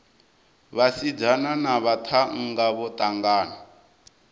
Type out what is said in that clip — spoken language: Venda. vhasidzana na vhaṱhannga vho ṱangana